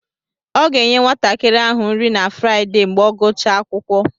Ọ ga-enye nwatakịrị ahụ nri na Fraịdee mgbe ọ gụchaa akwụkwọ.